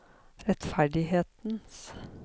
rettferdighetens